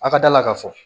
A ka da la ka fɔ